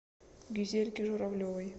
гюзельке журавлевой